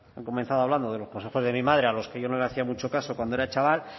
han comenzado hablando de los consejos de mi madre a los que yo no le hacía mucho caso cuando yo era chaval